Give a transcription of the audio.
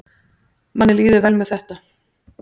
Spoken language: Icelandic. Manni líður vel með þetta